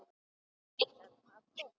Ætlar pabbi?